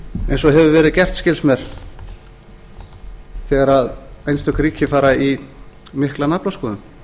eins og hefur verið gert skilst mér þegar einstök ríki fara í mikla naflaskoðun